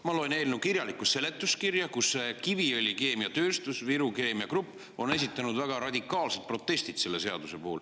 Ma loen eelnõu kirjalikku seletuskirja, kust on näha, et Kiviõli Keemiatööstus ja Viru Keemia Grupp on esitanud väga radikaalsed protestid selle seaduse vastu.